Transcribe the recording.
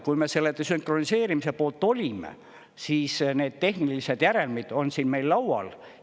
Kui me selle desünkroniseerimise poolt olime, siis need tehnilised järelmid on siin meil laual.